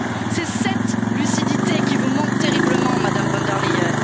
Cest cette lucidité qui vous manque terriblement, Madame von der Leyen.